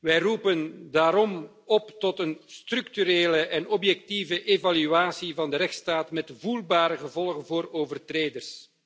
Wij roepen daarom op tot een structurele en objectieve evaluatie van de rechtsstaat met voelbare gevolgen voor overtreders.